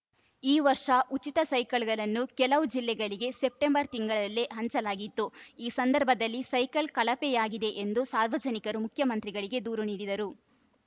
ಈ ವರ್ಷ ಉಚಿತ ಸೈಕಲ್‌ ಗಳನ್ನು ಕೆಲವು ಜಿಲ್ಲೆಗಳಿಗೆ ಸೆಪ್ಟಂಬರ್‌ ತಿಂಗಳಲ್ಲೇ ಹಂಚಲಾಗಿತ್ತುಈ ಸಂದರ್ಭದಲ್ಲಿ ಸೈಕಲ್‌ ಕಳಪೆಯಾಗಿದೆ ಎಂದು ಸಾರ್ವಜನಿಕರು ಮುಖ್ಯಮಂತ್ರಿಗಳಿಗೆ ದೂರು ನೀಡಿದ್ದರು